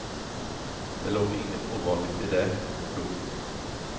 Det låg inget ovanligt i det. punkt